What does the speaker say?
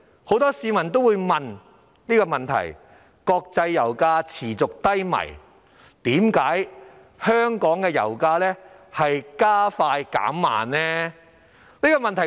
很多市民提問，現時國際油價持續低迷，為何香港的油價卻"加快減慢"？